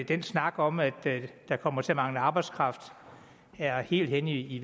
den snak om at der kommer til at mangle arbejdskraft er helt hen i